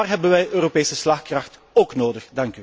Daar hebben wij Europese slagkracht ook nodig.